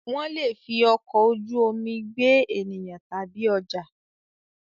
Wọ́n lè fi ọkọ̀ ojú omi gbé ènìyàn tàbí ọjà.